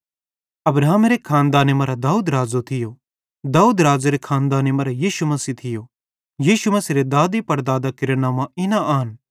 अब्राहमेरी औलादी मरां दाऊद राज़ो थियो दाऊदेरी औलादी मरां यीशु मसीह थियो यीशु मसीहेरे दादेपड़दादां केरां नंव्वां इना आन